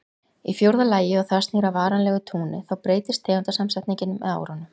Í fjórða lagi og það snýr að varanlegu túni, þá breytist tegundasamsetningin með árunum.